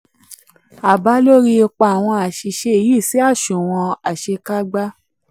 àbá lórí ipa àwọn aṣìṣe yìí sí aṣunwon yìí sí aṣunwon àṣekágba.